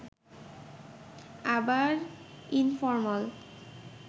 আবার ইনফরমাল